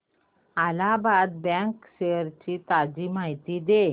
Allahabad bank shares ची ताजी माहिती दे